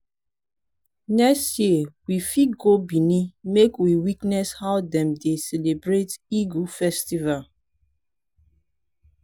next year we fit go benin make we witness how dem dey celebrate igue festival.